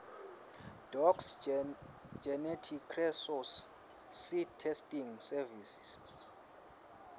docs geneticresources seedtestingservices